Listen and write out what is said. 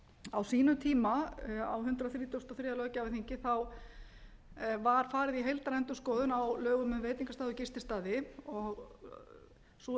á sínum tíma á hundrað þrítugasta og þriðja löggjafarþingi var farið í heildarendurskoðun á lögum um veitingastaði og gististaði og sú